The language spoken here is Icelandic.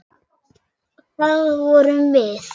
Og það vorum við.